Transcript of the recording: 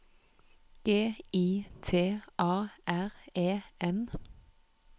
G I T A R E N